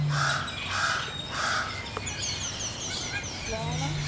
ਲੈ ਨਾ।